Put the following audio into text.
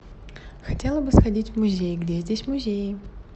хотела бы сходить в музей где здесь музеи